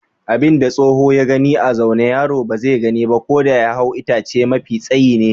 Abin da tsoho ya gani a zaune yaro ba zai gani ba ko da ya hau itace mafi tsayi ne.